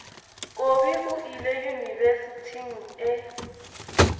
kobi o ile yunibesithing e